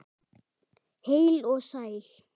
Heil og sæl.